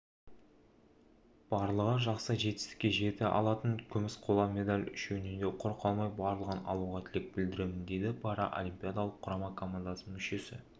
барлығы жақсы жетістікке жеті алтын күміс қола медаль үшеуінен де құр қалмай барлығын алуға тілек білдіремін дейді паралимпиадалық құрама командасының мүшесі